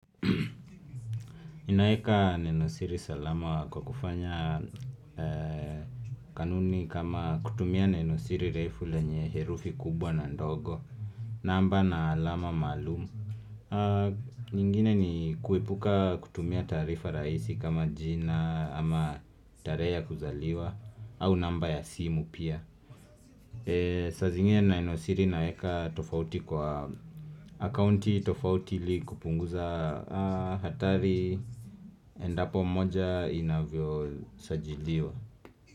Ninaeka Nenosiri salama kwa kufanya kanuni kama kutumia Nenosiri refu lenye herufi kubwa na ndogo namba na alama maalumu nyingine ni kuepuka kutumia taarifa raisi kama jina ama tarehe ya kuzaliwa au namba ya simu pia saa zingine nenosiri inaeka tofauti kwa akaunti tofauti ili kupunguza hatari Endapo moja inavyosajiliwa.